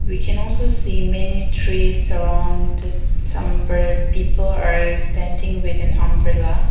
We can also see many trees surround some per people are standing within umbrella.